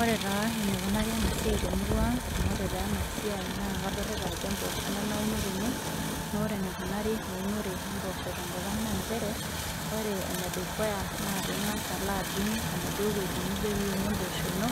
Ore taa enikunari ena siai temurua ang amu ore taa ena siai naa kadolita ajo emposho ena nauno tene nore enikunari eunore empoosho tenkop ang naa inchere ore enedukuya naa ing'as alo adung enaduo wueji nijo piunie emposho ino